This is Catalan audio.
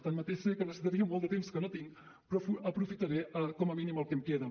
tanmateix sé que necessitaria molt de temps que no tinc però aprofitaré com a mínim el que em queda